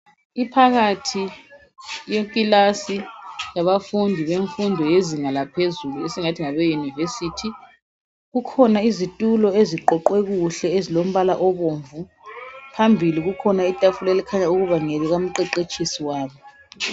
Iphakathi yeklasi yabafundi bemfundo yezinga laphezulu esengathi ngabe university kukhona izitulo eziqoqwe kuhle ezilombala obomvu phambili kukhona itafula elikhanya ukuba ngelika mqeqetshisi wabo